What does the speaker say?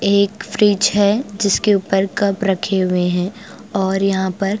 एक फ्रिज है जिसके ऊपर कप रखे हुए हैं और यहाँ पर--